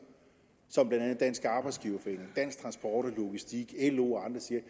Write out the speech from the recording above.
som blandt andet dansk arbejdsgiverforening dansk transport og logistik lo og andre siger